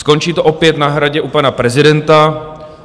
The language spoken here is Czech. Skončí to opět na Hradě u pana prezidenta.